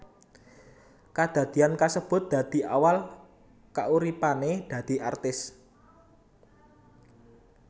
Kadadian kasebut dadi awal kauripané dadi artis